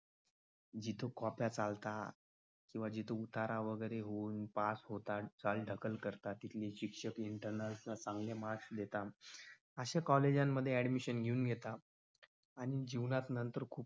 जिथे copya चालता किंवा जिथून उतारा वगैरे घेऊन पास होतात. काळी दखल करतात मग शिक्षक त्यांना चांगले marks देतात अशा college मध्ये admission घेऊन घेतात आणि जीवनात नंतर खूप